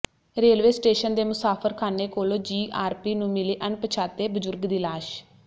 railway station ਦੇ ਮੁਸਾਫਰਖਾਨੇ ਕੋਲੋਂ ਜੀਆਰਪੀ ਨੂੰ ਮਿਲੀ ਅਣਪਛਾਤੇ ਬਜ਼ੁਰਗ ਦੀ ਲਾਸ਼